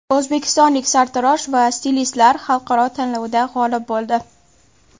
O‘zbekistonlik sartarosh va stilistlar xalqaro tanlovda g‘olib bo‘ldi .